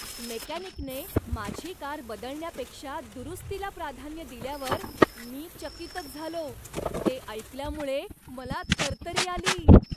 मेकॅनिकने माझी कार बदलण्यापेक्षा दुरुस्तीला प्राधान्य दिल्यावर मी चकीतच झालो. ते ऐकल्यामुळे मला तरतरी आली.